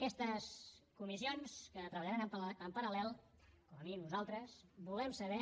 aquestes comissions que treballaran en paral·lel com a mínim nosaltres volem saber